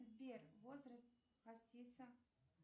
сбер возраст хасиса